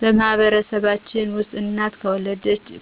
በማህበረሰባችን ውስጥ እናት